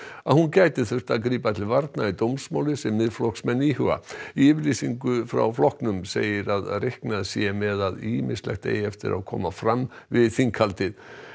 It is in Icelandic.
að hún gæti þurft að grípa til varna í dómsmáli sem Miðflokksmenn íhuga í yfirlýsingu frá flokknum segir að reiknað sé með að ýmislegt eigi eftir að koma fram við þinghaldið